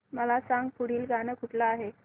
मला सांग पुढील गाणं कुठलं आहे